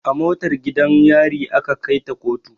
A motar gidan yari aka kai ta koto